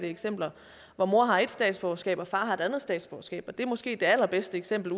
eksempler hvor mor har ét statsborgerskab og far har et andet statsborgerskab og det er måske det allerbedste eksempel